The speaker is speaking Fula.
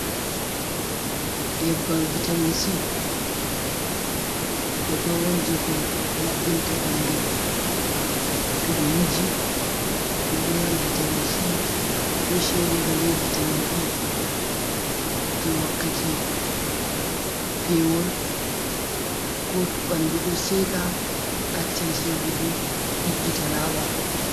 Nyebbam vitamin C, nyebbam on jei ko laɓɓinta ɓandu. To ɓe wuji, ɗum ɗo mari vitamin C, be shea bota, be vitamin E, jei wakkati pewol, ko to ɓandu ɗo seka accan sekugo, ɗiggita, laaɓa.